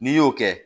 N'i y'o kɛ